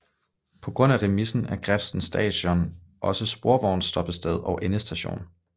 På grund af remisen er Grefsen Station også sporvognsstoppested og endestation